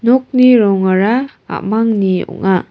nokni rongara a·mangni ong·a.